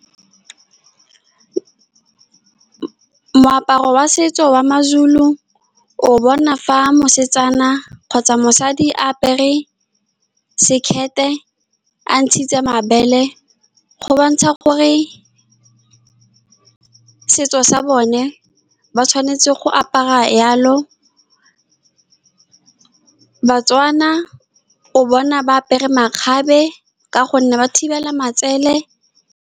Moaparo wa setso wa mazulu o o bona fa mosetsana kgotsa mosadi a apere sekete a ntshitse mabele go bontsha gore setso sa bone ba tshwanetse go apara jalo Batswana o bona ba apere makgabe ka gonne ba thibela matsoele.